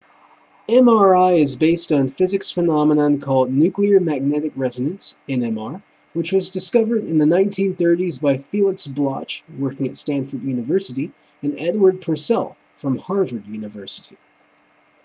mri is based on a physics phenomenon called nuclear magnetic resonance nmr which was discovered in the 1930s by felix bloch working at stanford university and edward purcell from harvard university